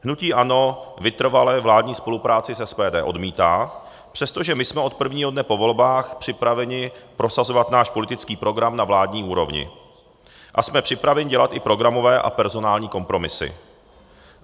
Hnutí ANO vytrvale vládní spolupráci s SPD odmítá, přestože my jsme od prvního dne po volbách připraveni prosazovat náš politický program na vládní úrovni a jsme připraveni dělat i programové a personální kompromisy.